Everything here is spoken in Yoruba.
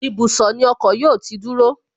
Ibùsọ̀ ni ọkọ̀ yóò ti dúró